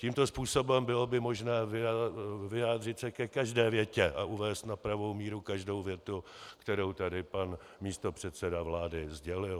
Tímto způsobem by bylo možné vyjádřit se ke každé větě a uvést na pravou míru každou větu, kterou tady pan místopředseda vlády sdělil.